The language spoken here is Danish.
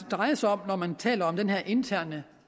drejer sig om når man taler om den her interne